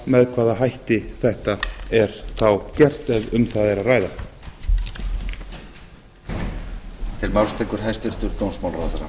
með hvaða hætti þetta er þá gert ef um það er að ræða